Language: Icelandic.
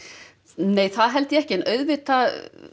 nei það held ég ekki en auðvitað